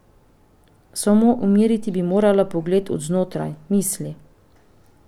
Samo umiriti bi morala pogled od znotraj, misli.